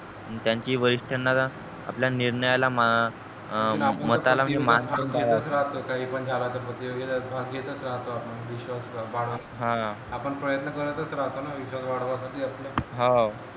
त्यांची आपल्या निर्णयाला मताला म्हणजे मान हा आपण प्रयत्न करताच राहतो न विश्वास वाढवा साठी आपले हाव